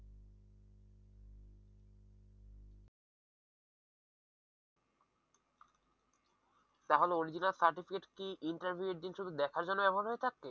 তাহলে original certificate কি interview এর দিন শুধু দেখার জন্য ব্যবহার হয়ে থাকে?